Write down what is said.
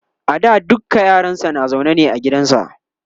a da dukka yaransa na zaune ne a gidansa